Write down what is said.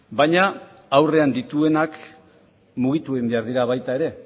baina aurrean dituenak mugitu egin behar dira baita ere